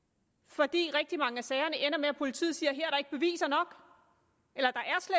fordi rigtig mange af sagerne ender med at politiet siger at beviser nok eller